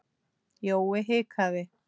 Jói hikaði.